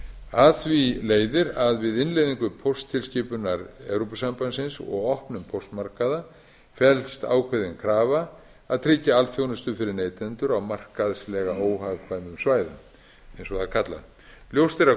af því leiðir að við innleiðingu pósttilskipunar evrópusambandsins og opnun póstmarkaða felst ákveðin krafa að tryggja alþjónustu fyrir neytendur á markaðslega óhagkvæmum svæðum eins og það er kallað ljóst er að